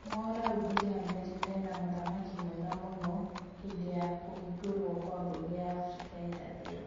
Mwaũra augire Amerika ĩna mũthamaki mwega mũno hĩndi ya kũhingũrwo kwa mbunge ya Afrika ya irathĩro